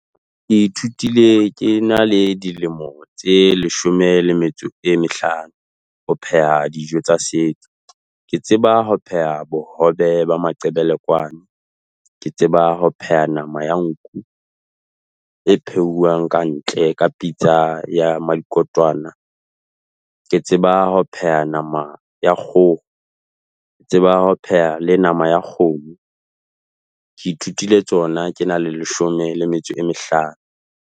Ke ithutile ke na le dilemo tse leshome le metso e mehlano. Ho pheha dijo tsa setso. Ke tseba ho pheha bohobe ba maqebelekwane. Ke tseba ho pheha nama ya nku. E phehuwang kantle, ka pitsa ya mmadikotwana. Ke tseba ho pheha nama ya kgoho. Ke tseba ho pheha le nama ya kgomo. Ke ithutile tsona ke na le leshome le metso e mehlano.